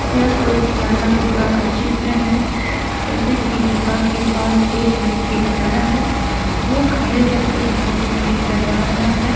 यह कोई पुराना गुफा का चित्र है जैसे कि गुफा के पास एक व्यक्ति खड़ा है वह खड़े होकर फोटो क्लिक करवा रहा है।